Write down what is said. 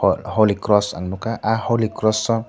holy cross ang nogkha ah holy cross o.